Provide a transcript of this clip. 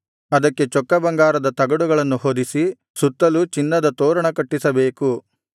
ಅದಕ್ಕೆ ಚೊಕ್ಕ ಬಂಗಾರದ ತಗಡುಗಳನ್ನು ಹೊದಿಸಿ ಸುತ್ತಲೂ ಚಿನ್ನದ ತೋರಣ ಕಟ್ಟಿಸಬೇಕು